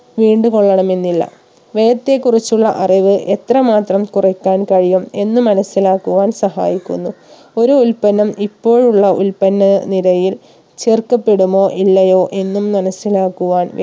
വീണ്ടു കൊള്ളണമെന്നില്ല വ്യയത്തെ കുറിച്ചുള്ള അറിവ് എത്ര മാത്രം കുറക്കാൻ കഴിയും എന്ന് മനസിലാക്കുവാൻ സഹായിക്കുന്നു ഒരു ഉൽപ്പന്നം ഇപ്പോഴുള്ള ഉൽപ്പന്ന നിരയിൽ ചേർക്കപ്പെടുമോ ഇല്ലയോ എന്നും മനസിലാക്കുവാൻ